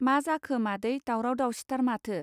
मा जाखो मादै दावराव दावसिथार माथो.